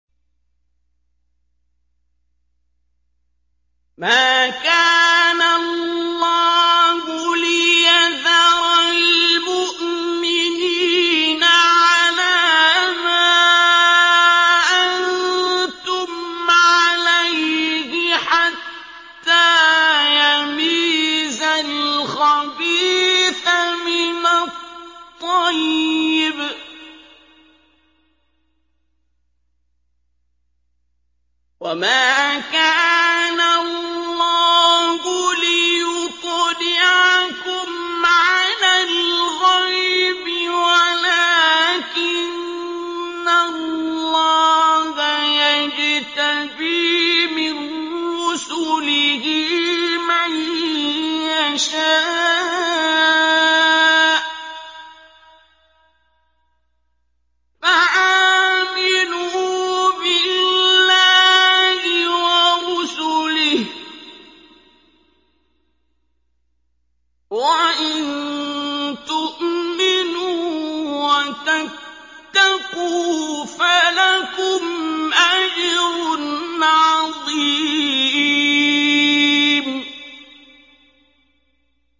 مَّا كَانَ اللَّهُ لِيَذَرَ الْمُؤْمِنِينَ عَلَىٰ مَا أَنتُمْ عَلَيْهِ حَتَّىٰ يَمِيزَ الْخَبِيثَ مِنَ الطَّيِّبِ ۗ وَمَا كَانَ اللَّهُ لِيُطْلِعَكُمْ عَلَى الْغَيْبِ وَلَٰكِنَّ اللَّهَ يَجْتَبِي مِن رُّسُلِهِ مَن يَشَاءُ ۖ فَآمِنُوا بِاللَّهِ وَرُسُلِهِ ۚ وَإِن تُؤْمِنُوا وَتَتَّقُوا فَلَكُمْ أَجْرٌ عَظِيمٌ